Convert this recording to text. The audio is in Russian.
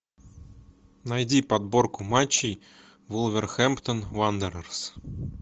найди подборку матчей вулверхэмптон уондерерс